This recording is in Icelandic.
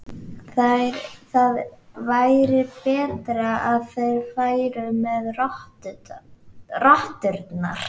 Það væri betra að þeir færu með rotturnar.